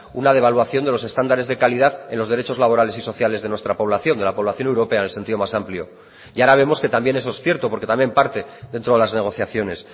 una devaluación de los estándares de calidad en los derechos laborales y sociales de nuestra población de la población europea en el sentido más amplio y ahora vemos que también eso es cierto porque también parte dentro de las negociaciones